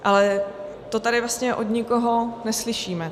Ale to tady vlastně od nikoho neslyšíme.